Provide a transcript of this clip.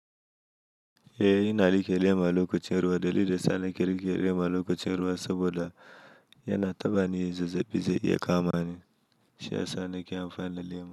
Eh, ina like liman lokacin ruwa. Dalilin sa na kirki liman lokacin ruwa saboda yana taɓa ni yanzu da bisa iya kama ni, shi yasa nake amfani da lema.